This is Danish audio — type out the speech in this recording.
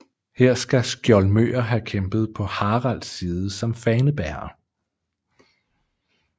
Her skal skjoldmøer have kæmpet på Haralds side som fanebærere